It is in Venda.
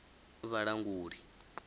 vhalanguli